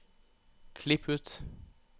Klipp ut